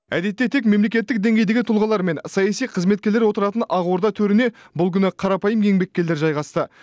әдетте тек мемлекеттік деңгейдегі тұлғалар мен саяси қызметкерлер отыратын ақорда төріне бұл күні қарапайым еңбеккерлер жайғасты